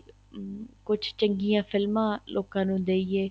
ਹਮ ਕੁੱਛ ਚੰਗੀਆਂ ਫਿਲਮਾਂ ਲੋਕਾਂ ਨੂੰ ਦਈਏ